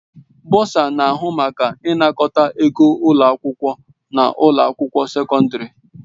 Bọsa na-ahụ maka ịnakọta ego ụlọ akwụkwọ na ụlọ akwụkwọ sekọndrị.